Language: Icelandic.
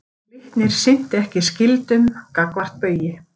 Glitnir sinnti ekki skyldum gagnvart Baugi